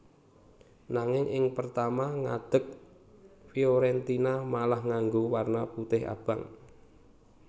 Nanging ing pertama ngadeg Fiorentina malah nganggo warna putih abang